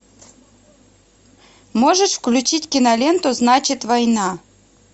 можешь включить киноленту значит война